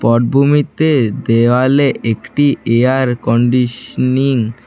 পটভূমিতে দেওয়ালে একটি এয়ার কন্ডিশনিং --